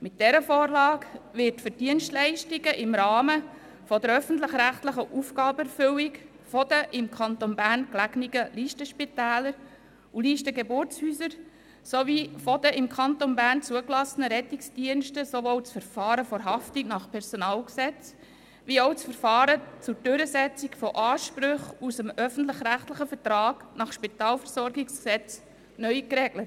Mit dieser Vorlage wird für die Dienstleistungen im Rahmen der öffentlich-rechtlichen Aufgabenerfüllung der im Kanton Bern gelegenen Listenspitäler und Listengeburtshäuser sowie der im Kanton Bern zugelassenen Rettungsdienste sowohl das Verfahren der Haftung nach PG als auch das Verfahren zur Durchsetzung von Ansprüchen aus dem öffentlich-rechtlichen Vertrag nach SpVG neu geregelt.